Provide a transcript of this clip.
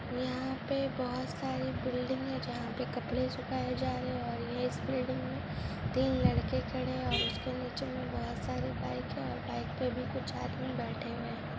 यहां पे बहुत सारे बिल्डिंग हैं जहां पे कपड़े सुखाए जा रहे है और ये इस बिल्डिंग में तीन लड़के खड़े है और इसके नीचे बहुत सारे बाइक हैं और बाइक पे भी कुछ आदमी बैठे हुए हैं।